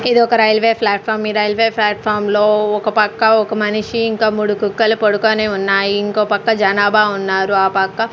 ఇదొక railway platform ఈ railway platform లో ఒక పక్క ఒక మనిషి ఇంకా మూడు కుక్కలు పొడుకోని ఉన్నాయి ఇంకోపక్క జనాభా ఉన్నారు ఆ పక్క --